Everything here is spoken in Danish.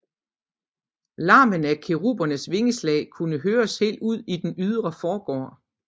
Larmen af kerubernes vingeslag kunne høres helt ud i den ydre forgård